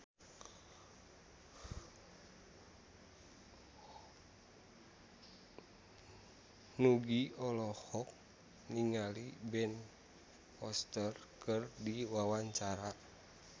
Nugie olohok ningali Ben Foster keur diwawancara